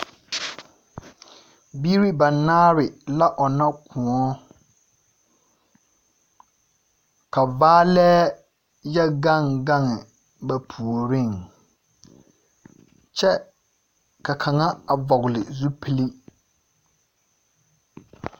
Biiri banaare la ɔnnɔ kõɔ. Ka gbaalɛɛ yɔ gaŋ gaŋ, kyɛ ka a kaŋa vɔgele zupili.